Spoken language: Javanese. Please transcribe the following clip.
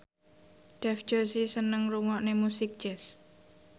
Dev Joshi seneng ngrungokne musik jazz